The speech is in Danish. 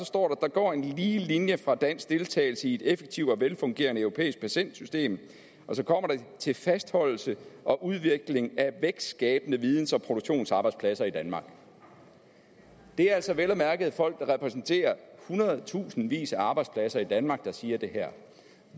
går en lige linje fra dansk deltagelse i et effektivt og velfungerende europæisk patentsystem og så kommer det til fastholdelse og udvikling af vækstskabende videns og produktionsarbejdspladser i danmark det er altså vel at mærke folk der repræsenterer hundredtusindvis af arbejdspladser i danmark der siger det her